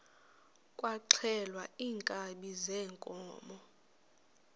kwaxhelwa iinkabi zeenkomo